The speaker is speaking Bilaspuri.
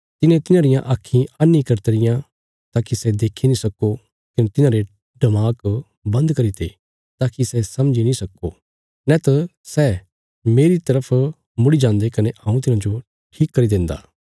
तिने तिन्हांरियां आक्खीं अन्ही करी तियां ताकि सै देक्खी नीं सक्को कने तिन्हांरे डमाक बंद करीते ताकि सै समझी नीं सक्को नैत सै मेरी तरफ मुड़ी जान्दे कने हऊँ तिन्हांजो ठीक करी देंदा